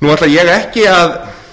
nú ætla ég ekki að